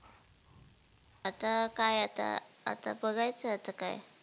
आता काय आता, आता बघायचं आता काय?